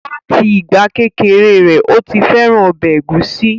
Láti ìgbà kékeré rẹ̀, ó ti fẹ́ràn ọbẹ̀ ẹ̀gúsí